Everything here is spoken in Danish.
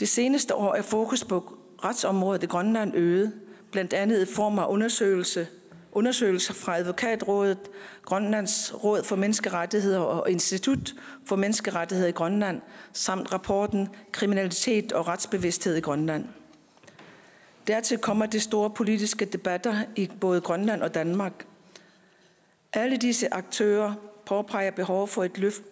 det seneste år er fokus på retsområdet i grønland øget blandt andet i form af undersøgelser undersøgelser fra advokatrådet grønlands råd for menneskerettigheder og institut for menneskerettigheder i grønland samt rapporten kriminalitet og retsbevidsthed i grønland dertil kommer de store politiske debatter i både grønland og danmark alle disse aktører påpeger et behov for et løft